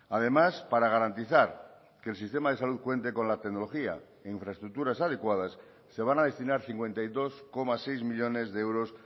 además para garantizar que el sistema de salud cuente con la tecnología e infraestructuras adecuadas se van a destinar cincuenta y dos coma seis millónes de euros